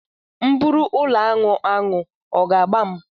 M bụrụ ụlọaṅụ aṅụ, ọ ga agba m?